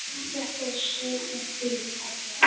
Þetta var sveitin þín, pabbi.